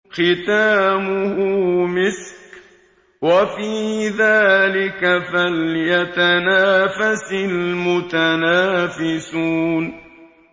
خِتَامُهُ مِسْكٌ ۚ وَفِي ذَٰلِكَ فَلْيَتَنَافَسِ الْمُتَنَافِسُونَ